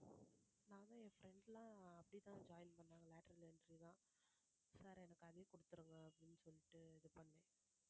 நானும் என் friends லாம் அப்படிதான் join பண்ணணோம் lateral entry ல sir எனக்கு அதுவே கொடுத்துடுங்க அப்படின்னு சொல்லிட்டு இது பண்ணேன்